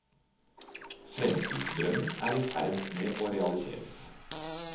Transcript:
Fremtidsdrømmer er i ferd med å realiseres.